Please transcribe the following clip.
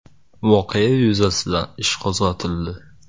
Voqea yuzasidan ish qo‘zg‘atildi.